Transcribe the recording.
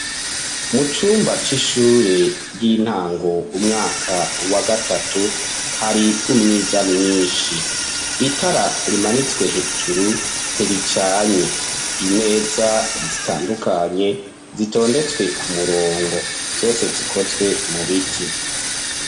Mu cumba c'ishure, ry'intango, umwaka wa gatatu, hari umwiza mwinshi; itara rimanitswe hejuru, ntiricanye; imeza zitandukanye, zitondetswe ku murongo, zose zikozwe mu biti.